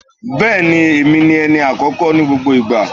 Bẹ́ẹ̀ni, èmi ni ẹni àkọ́kọ́ ní gbogbo ìgbà.